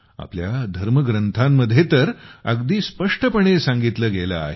आपल्या धर्मग्रंथांमध्ये तर अगदी स्पष्टपणे सांगितले आहे